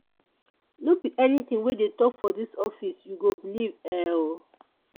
no be anytin wey dem tok for dis office you go believe um o.